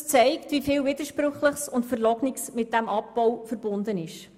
Das zeigt, wieviel Widersprüchliches und Verlogenes mit diesem Abbau verbunden ist.